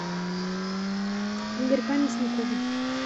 игорька мясникова